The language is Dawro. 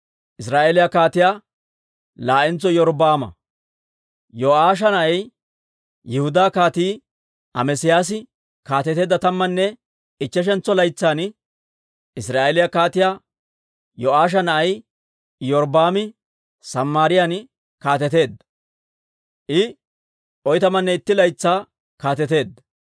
Yo'aasha na'ay, Yihudaa Kaatii Amesiyaasi kaateteedda tammanne ichcheshantso laytsan, Israa'eeliyaa Kaatiyaa Yo'aasha na'ay Iyorbbaami Samaariyaan kaateteedda; I oytamanne itti laytsaa kaateteedda.